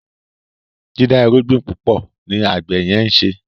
dida irúgbìn púpọ ní àgbè yen nṣe